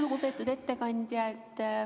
Lugupeetud ettekandja!